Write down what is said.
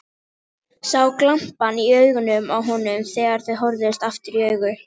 Sá glampann í augunum á honum þegar þau horfðust aftur í augu.